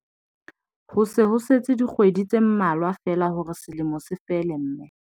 Ho se ho setse dikgwedi tse mmalwa feela hore selemo se fele mme